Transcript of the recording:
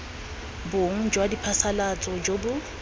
bong jwa diphasalatso jo bo